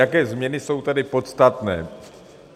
Jaké změny jsou tady podstatné.